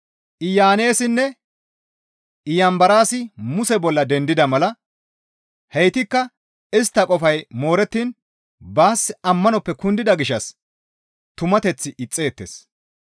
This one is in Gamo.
Iyaneessinne Iyanbaraasi Muse bolla dendida mala haytikka istta qofay moorettiin baas ammanoppe kundida gishshas tumateth ixxeettes.